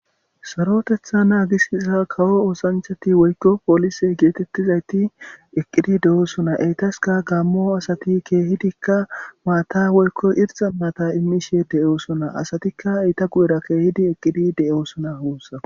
Sarotetha nagisiza kawo osanchati woykon polise getetizayti eqqidi de'osona eteska gamo asati kehidika mata woykon irxa mata imishe de'osona asatika eta guyera kehidi eqidi de'osona gusako